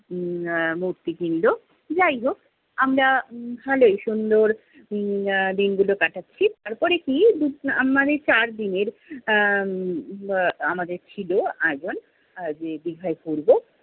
আহ মূর্তি কিনলো। যাই হোক, আমরা ভালোই সুন্দর আহ দিনগুলো কাটাচ্ছি। তারপরে কি আহ মানে চারদিনের, আহ আহ আমাদের ছিলো আয়োজন আহ যে দীঘায় ঘুরবো।